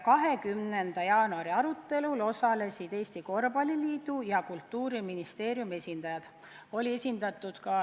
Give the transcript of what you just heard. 20. jaanuari arutelul osalesid Eesti Korvpalliliidu ja Kultuuriministeeriumi esindajad.